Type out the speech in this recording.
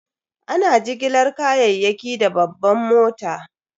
Ana jigilar kayayyaki da babban mota.